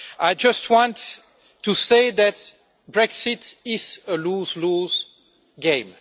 I just want to say that Brexit is a lose lose game.